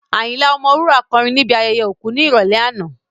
Ayinla Ọmọwura kọrin ní ibi ayẹyẹ òkú ní ìrọ̀lẹ́ àná